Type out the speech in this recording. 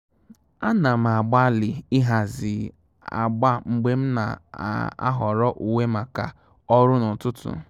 À nà m ágbàlị́ ị́hàzì ágbà mgbè m nà-áhọ́rọ́ úwé màkà ọ́rụ́ n’ụ́tụ́tụ́.